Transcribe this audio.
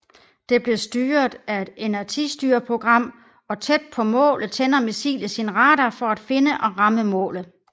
Det bliver styret af et inertistyreprogram og tæt på målet tænder missilet sin radar for at finde og ramme målet